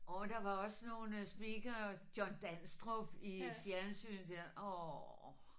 Årh der var også nogle speakere John Danstrup i fjernsynet der årh